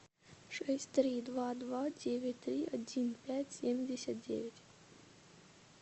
шесть три два два девять три один пять семьдесят девять